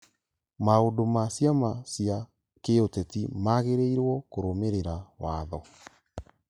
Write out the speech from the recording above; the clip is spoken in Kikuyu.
Maũndũ ma ciama cia kĩũteti magĩrĩirwo kũrũmĩrĩra watho